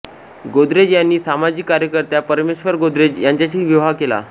गोदरेज यांनी सामाजिक कार्यकर्त्या परमेश्वर गोदरेज यांचाशी विवाह केला